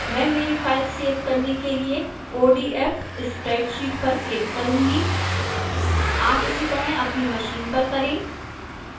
मैं मेरी file save करने के लिए odf spreadsheet पर click करूंगी आप इसीतरह अपनी मशीन पर करें